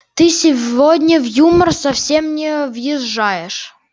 ты сегодня в юмор совсем не въезжаешь